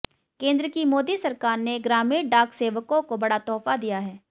केंद्र की मोदी सरकार ने ग्रामीण डाक सेवकों को बड़ा तोहफा दिया है